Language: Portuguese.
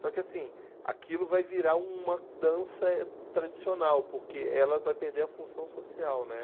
Só que, assim, aquilo vai virar uma dança tradicional, porque ela vai perder a função social, né?